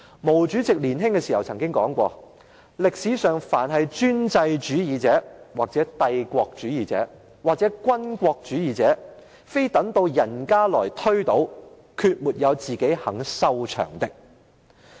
毛主席年輕時說過："歷史上凡是專制主義者，或帝國主義者，或軍國主義，非等到人家來推倒，決沒有自己肯收場的。